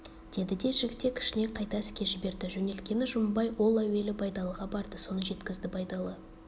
деді де жігітек ішіне қайта іске жіберді жөнелткені жұмабай ол әуелі байдалыға барды соны жеткізді байдалы